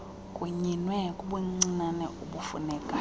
kunyinwe kubuncinane ubufunekayo